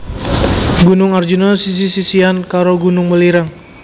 Gunung Arjuna sisih sisihan karo Gunung Welirang